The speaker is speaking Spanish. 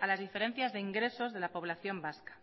a las diferencias de ingresos de la población vasca